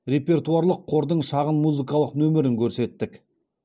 репертуарлық қордың шағын музыкалық нөмірін көрсеттік